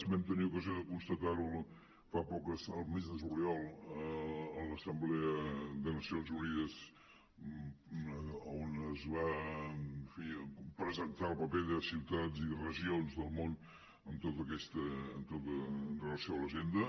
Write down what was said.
vam tenir ocasió de constatar ho fa poc el mes de juliol a l’assemblea de les nacions unides on es va en fi presentar el paper de ciutats i regions del món amb relació a l’agenda